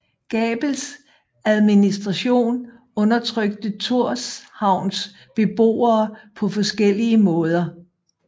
Gabels administration undertrykte Tórshavns beboere på forskellige måder